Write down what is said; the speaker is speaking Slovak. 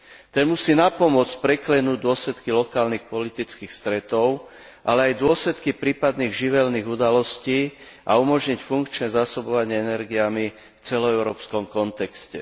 Ten musí napomôcť preklenúť dôsledky lokálnych politických stretov, ale aj dôsledky prípadných živelných udalostí a umožniť funkčné zásobovanie energiami v celoeurópskom kontexte.